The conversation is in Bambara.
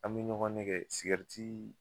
An be ɲɔgɔn nɛgɛ sigɛritii